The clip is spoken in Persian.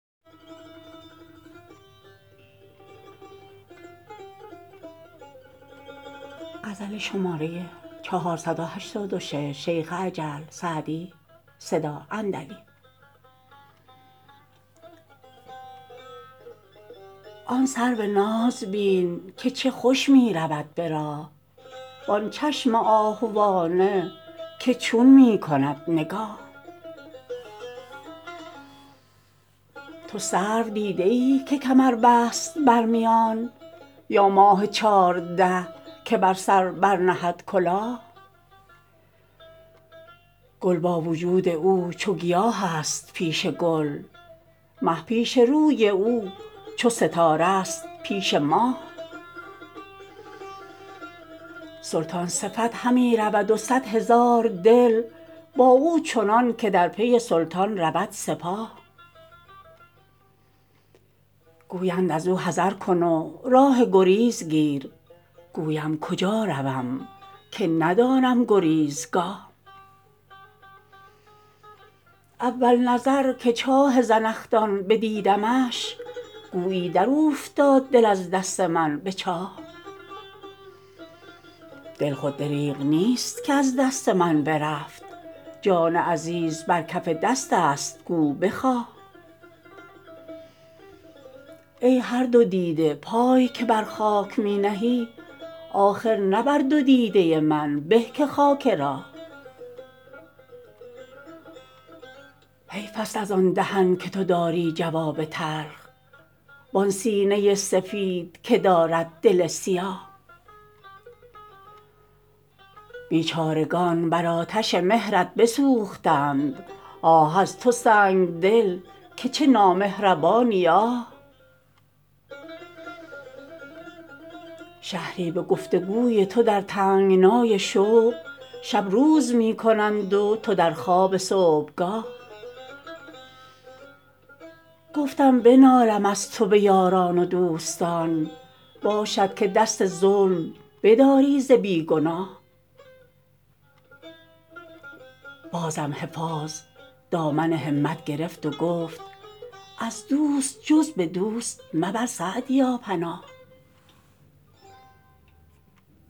آن سرو ناز بین که چه خوش می رود به راه وآن چشم آهوانه که چون می کند نگاه تو سرو دیده ای که کمر بست بر میان یا ماه چارده که به سر برنهد کلاه گل با وجود او چو گیاه است پیش گل مه پیش روی او چو ستاره ست پیش ماه سلطان صفت همی رود و صد هزار دل با او چنان که در پی سلطان رود سپاه گویند از او حذر کن و راه گریز گیر گویم کجا روم که ندانم گریزگاه اول نظر که چاه زنخدان بدیدمش گویی در اوفتاد دل از دست من به چاه دل خود دریغ نیست که از دست من برفت جان عزیز بر کف دست است گو بخواه ای هر دو دیده پای که بر خاک می نهی آخر نه بر دو دیده من به که خاک راه حیف است از آن دهن که تو داری جواب تلخ وآن سینه سفید که دارد دل سیاه بیچارگان بر آتش مهرت بسوختند آه از تو سنگدل که چه نامهربانی آه شهری به گفت و گوی تو در تنگنای شوق شب روز می کنند و تو در خواب صبحگاه گفتم بنالم از تو به یاران و دوستان باشد که دست ظلم بداری ز بی گناه بازم حفاظ دامن همت گرفت و گفت از دوست جز به دوست مبر سعدیا پناه